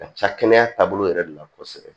Ka ca kɛnɛya taabolo yɛrɛ de la kosɛbɛ